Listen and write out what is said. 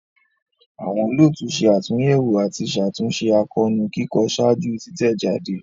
Awọn olootu ṣe atunyẹwo ati ṣatunṣe akoonu kikọ ṣaaju titẹjade.